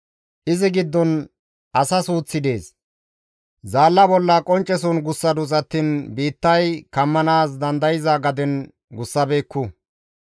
Izi giddon asa suuththi dees; zaalla bolla qoncceson gussadus attiin biittay kammanaas dandayza gaden gussabeekku.